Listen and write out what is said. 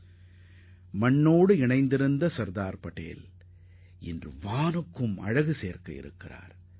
நமது மண்ணின் உண்மையான மைந்தரான சர்தார் பட்டேல் நமது வான்வெளியையும் அலங்கரிப்பார்